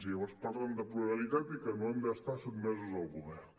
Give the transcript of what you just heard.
llavors parlen de pluralitat i que no han d’estar sotmesos al govern